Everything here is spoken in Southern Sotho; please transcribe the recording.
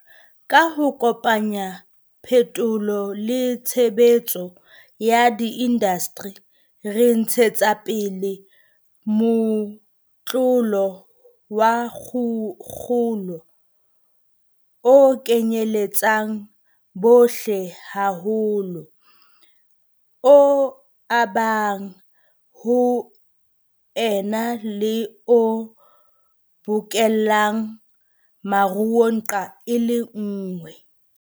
Ka ho kopanya phetolo le tshebetso ya diindasteri, re ntshetsa pele motlolo wa kgolo o kenyeletsang bohle haholo, o abang, ho ena le o bokellang maruo nqa e le nngwe.